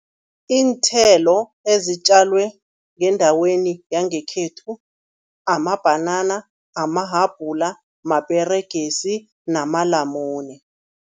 Iinthelo ezitjalwe ngendaweni yangekhethu, amabhanana, amahabhula maperegisi namalamune.